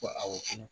Ko awɔ